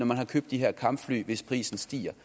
man har købt de her kampfly hvis prisen stiger